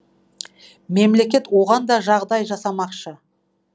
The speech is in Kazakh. мемлекет оған да жағдай жасамақшы